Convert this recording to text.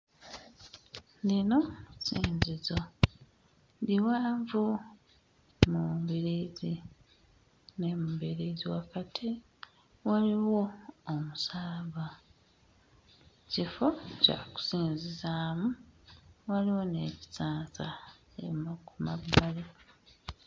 Lino ssinzizo. Liwanvu mu mbiriizi ne mu mbiriizi wakati waliwo omusaalaba. Kifo kya kusinzizaamu, waliwo n'ekisansa eno ku mabbali.